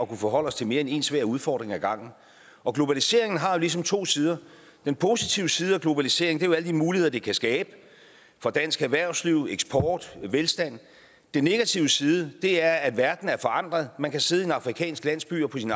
kunne forholde os til mere end en svær udfordring af gangen og globaliseringen har ligesom to sider den positive side af globaliseringen er jo alle de muligheder den kan skabe for dansk erhvervsliv og eksporten og velstand den negative side er at verden er forandret man kan sidde i en afrikansk landsby og på sin